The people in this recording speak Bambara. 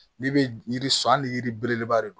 N'i bɛ yiri san hali ni yiri belebeleba de don